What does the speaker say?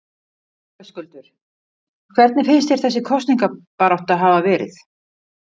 Höskuldur: Hvernig finnst þér þessi kosningabarátta hafa verið?